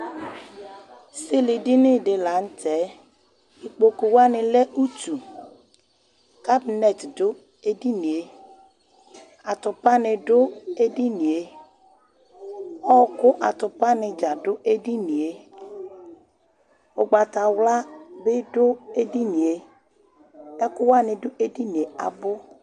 Esilidini di la n'tɛ, ikpokuwani lɛ utu, kabinɛt dù edinìe, atupa ni dù edinìe, ɔ̃kúatupani dza dù edinìe, ugbatawla bi dù edinìe, ɛkuwani bi dù edinìe abu